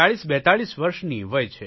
4042 વર્ષની વય છે